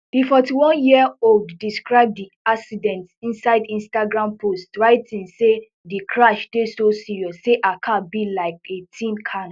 di forty-one year old describe di accident inside instagram post writing say di crash dey so serious say her car be like a tin can